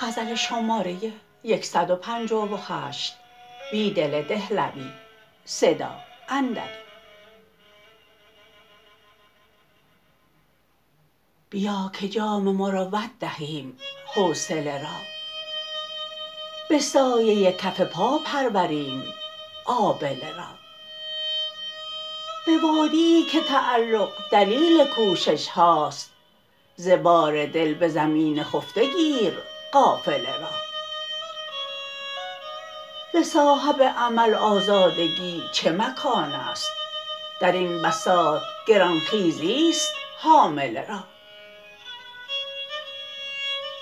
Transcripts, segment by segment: بیاکه جام مروت دهیم حوصله را به سایه کف پا پروریم آبله را به وادیی که تعلق دلیل کوشش هاست ز بار دل به زمین خفته گیر قافله را ز صاحب امل آزادگی چه مکان است درین بساط گرانخیزی است حامله را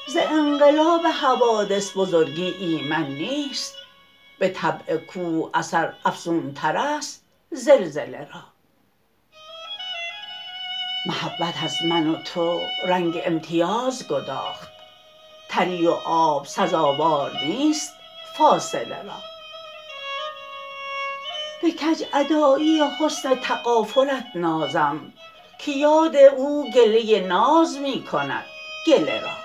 ز انقلاب حوادث بزرگی ایمن نیست به طبع کوه اثر افزونتر است زلزله را محبت از من و تو رنگ امیتازگداخت تری و آب سزاوار نیست فاصله را به کج ادایی حسن تغافلت نازم که یاد اوگله ناز می کندگله را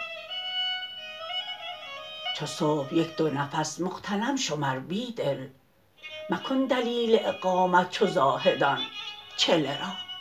چوصبح یک دونفس مغتنم شمربیدل مکن دلیل اقامت چو زاهدان چله را